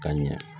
Ka ɲɛ